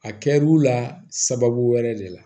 A kɛr'u la sababu wɛrɛ de la